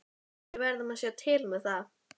Við verðum að sjá til með það.